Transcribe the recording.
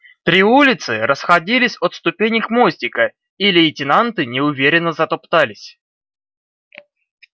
три улицы расходились от ступенек мостика и лейтенанты неуверенно затоптались